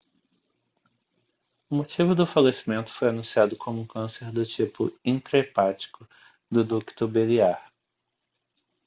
o motivo do falecimento foi anunciado como um câncer do tipo intra-hepático do ducto biliar